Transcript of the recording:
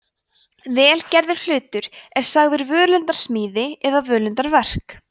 vel gerður hlutur er sagður völundarsmíði eða völundarverk